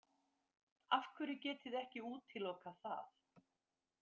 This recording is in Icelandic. Af hverju getið þið ekki útilokað það?